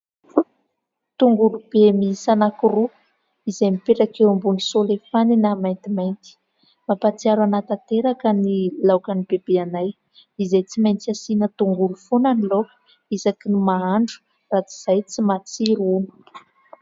Tongolo be miisa anankiroa izay mipetraka ambony solefanina maintimainty. Mampahatsiaro an'ahy tanteraka ny laoka an'i Bebe anay, izay tsy maintsy asiana tongolo foana isaky ny mahandro, raha tsy izay tsy matsiro hono.